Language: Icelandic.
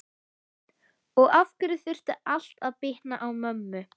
Og af hverju þurfti allt að bitna á mömmu?